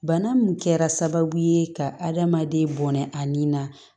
Bana min kɛra sababu ye ka adamaden bɔnɛ a ni na